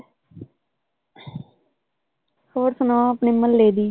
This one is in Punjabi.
ਹੋਰ ਸੁਣਾਓ ਆਪਣੇ ਮੁਹੱਲੇ ਦੀ?